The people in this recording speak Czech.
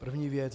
První věc.